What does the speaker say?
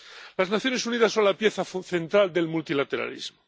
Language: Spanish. Las Naciones Unidas son la pieza fundamental del multilateralismo.